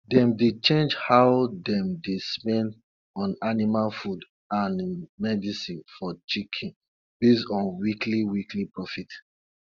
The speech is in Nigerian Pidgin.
dem dey change how dem dey spend on animal food and medicine for chicken based on weekly weekly profit